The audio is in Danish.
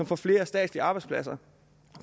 får flere statslige arbejdspladser